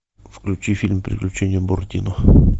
включи фильм приключения буратино